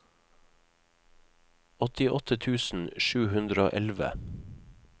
åttiåtte tusen sju hundre og elleve